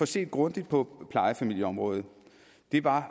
set grundigt på plejefamilieområdet det var